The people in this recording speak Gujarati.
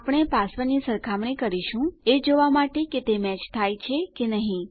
આપણે પાસવર્ડની સરખામણી કરીશું એ જોવા કે તે મેચ થાય છે કે નહી